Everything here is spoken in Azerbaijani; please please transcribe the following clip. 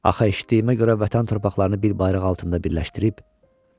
Axı eşitdiyimə görə vətən torpaqlarını bir bayraq altında birləşdirib.